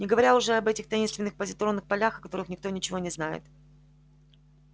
не говоря уже об этих таинственных позитронных полях о которых никто ничего не знает